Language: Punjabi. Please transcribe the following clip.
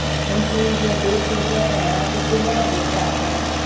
ਹਮਸੂਨ ਦੀਆਂ ਦੋ ਛੋਟੀਆਂ ਭੈਣਾਂ ਅਤੇ ਤਿੰਨ ਵੱਡੇ ਭਰਾ ਸਨ